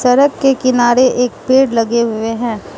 सड़क के किनारे एक पेड़ लगे हुए है।